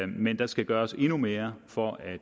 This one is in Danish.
men der skal gøres endnu mere for at